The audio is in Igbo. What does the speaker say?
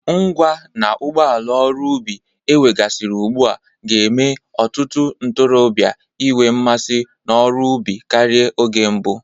Ngwa na ụgbọala ọrụ ubi ewegasịrị ugbu a ga na-eme ọtụtụ ntorọbịa inwe mmasị n'ọrụ ubi karị oge mbụ.